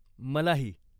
मलाही.